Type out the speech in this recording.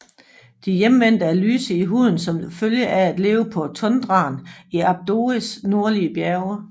De Hjemvendte er lyse i huden som følge af at leve på tundraen i Abodes nordlige bjerge